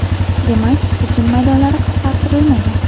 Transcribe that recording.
Demak, ekin maydonlari qisqartirilmagan.